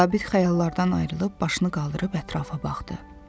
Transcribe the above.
Zabit xəyallardan ayrılıb başını qaldırıb ətrafa baxdı.